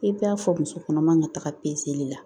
I b'a fɔ muso kɔnɔma ka taga la